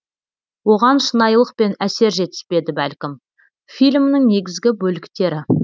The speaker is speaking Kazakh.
оған шынайылық пен әсер жетіспеді бәлкім фильмнің негізі бөліктері